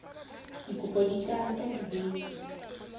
dikopo di ka nka dibeke